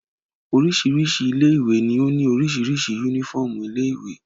Oríṣiríṣi ilé-ìwé ni ó ní oríṣiríṣi únífọ́ọ́mù ilé-ìwé.